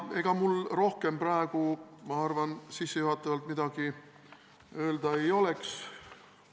Ega mul rohkem praegu sissejuhatavalt midagi öelda ei ole.